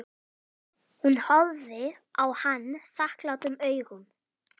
Hún horfði á hann þakklátum augum.